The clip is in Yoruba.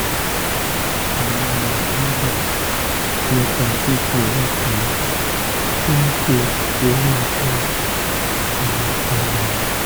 mo máa ń dà nípa fífi ọwọ́ pa ṣóńṣó orí nǹkan ọmọkùnrin mi